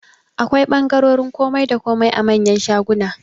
Akwai ɓangarorin komai da komai a manyan shaguna